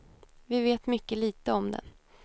Vi vet mycket litet om den.